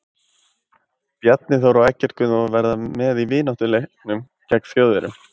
Bjarni Þór og Eggert Gunnþór verða með í vináttuleiknum gegn Þjóðverjum.